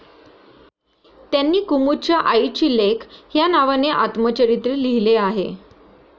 त्यांनी कुमुदच्या आईची लेक या नावाने आत्मचरित्र लिहिले आहे.